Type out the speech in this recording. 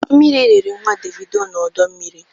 Mmiri rịrị nnwa Devido n'ọdọ mmiri